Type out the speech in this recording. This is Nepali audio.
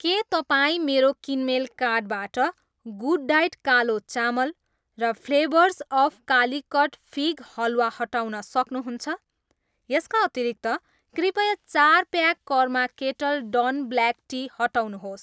के तपाईँ मेरो किनमेल कार्टबाट गुडडायट कालो चामल र flavours of Calicut fig halwa हटाउन सक्नुहुन्छ? यसका अतिरिक्त, कृपया चार pack karma kettle done black tea हटाउनुहोस्।